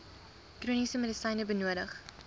chroniese medisyne benodig